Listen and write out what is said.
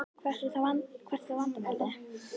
Hvert er þá vandamálið?